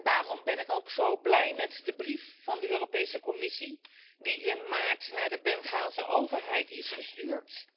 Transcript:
Daarom ben ik ook zo blij met de brief van de Europese Commissie die in maart naar de Bengaalse overheid is gestuurd.